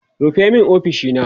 rufe min ofishina!